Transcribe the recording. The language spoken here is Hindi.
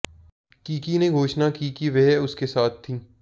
किकी ने घोषणा की कि वह उसके साथ थी